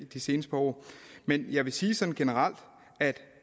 de seneste par år men jeg vil sige sådan generelt at